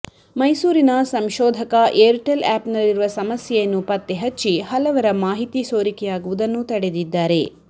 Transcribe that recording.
ಮೈಸೂರಿನ ಸಂಶೋಧಕ ಏರ್ಟೆಲ್ ಆ್ಯಪ್ ನಲ್ಲಿರುವ ಸಮಸ್ಯೆಯನ್ನು ಪತ್ತೆ ಹಚ್ಚಿ ಹಲವರ ಮಾಹಿತಿ ಸೋರಿಕೆಯಾಗುವುದನ್ನು ತಡೆದಿದ್ದಾರೆ